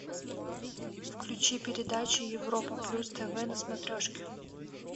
включи передачу европа плюс тв на смотрешке